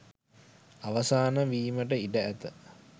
අවසාන වීමට ඉඩ ඇත